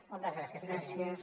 moltes gràcies president